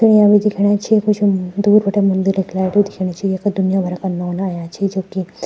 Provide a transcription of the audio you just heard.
तयारी दिखेणी च कुछ दूर बटे मंदिर की लाइट भी दिखेणी च यख दुनिया भरा का नौना अयां छीं जुकी --